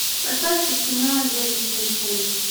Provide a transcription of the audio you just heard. поставь ка кино девять семь семь